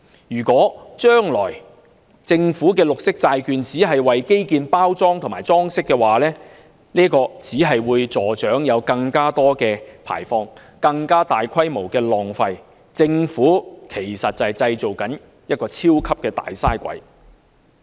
如果將來政府的綠色債券只為基建包裝和裝飾，只會助長更多排放，更大規模的浪費，製造"超級大嘥鬼"。